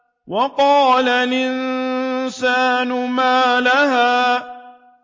وَقَالَ الْإِنسَانُ مَا لَهَا